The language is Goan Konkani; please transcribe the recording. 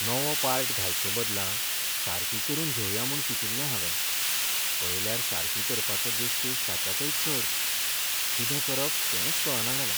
नवो पार्ट घालचे बदला सारकी करून घेवया म्हूण चिंतिल्लें हावें, पळयल्यार सारकी करपाचो देस्पेस ताच्याकय चड. कितें करप तेंच कळना जालां.